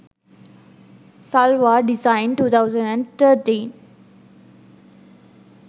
salwar design 2013